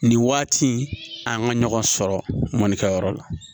Nin waati in an ka ɲɔgɔn sɔrɔ mɔnikɛyɔrɔ la